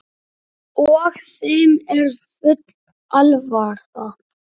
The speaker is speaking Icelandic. Og þeim er full alvara.